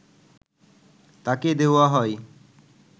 তাঁকে দেওয়া হয়